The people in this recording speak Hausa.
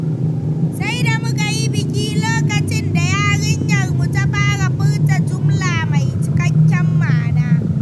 Sai da muka yi biki lokacin da yarinyarmu ta fara furta jumla mai cikakken ma’ana.